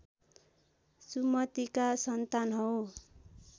सुमतिका सन्तान हौ